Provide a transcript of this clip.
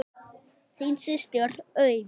Þín systir, Auður.